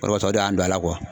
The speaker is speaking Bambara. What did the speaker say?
O de b'a to o de y'an don a la